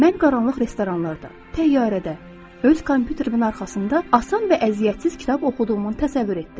Mən qaranlıq restoranlarda, təyyarədə, öz kompüterimin arxasında asan və əziyyətsiz kitab oxuduğumu təsəvvür etdim.